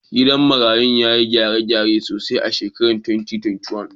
Gidan marayun ya yi gyare-gyare sosai a shekarar 2021.